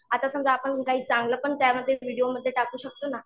आता समजा आपण काही चांगलं पण त्यामध्ये व्हिडिओमध्ये टाकू शकतो ना.